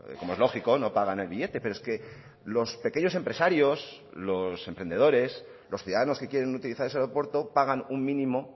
como es lógico no pagan el billete pero es que los pequeños empresarios los emprendedores los ciudadanos que quieren utilizar ese aeropuerto pagan un mínimo